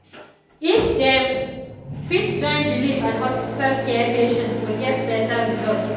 if dem fit join belief and hospital care patients go get better result.